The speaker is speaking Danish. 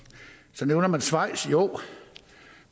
så nævner man schweiz jo